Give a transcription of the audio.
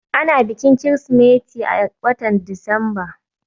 Ana bikin Kirsimeti a watan Disamba.